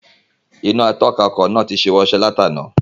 Iná atọ̀nà ọkọ̀ náà tí ṣíwọ́ iṣẹ́ láti àná.